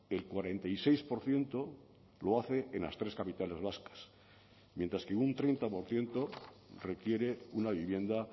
el cuarenta y seis por ciento lo hace en las tres capitales vascas mientras que un treinta por ciento requiere una vivienda